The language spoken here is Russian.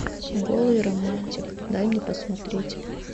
голый романтик дай мне посмотреть